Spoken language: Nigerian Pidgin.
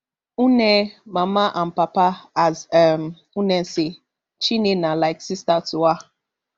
nne mama and papa as um nne say chinne na like sister to her